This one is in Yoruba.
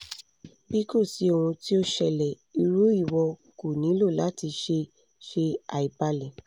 bi ko si ohun ti o ṣẹlẹ iru iwọ ko nilo lati ṣe ṣe aibalẹ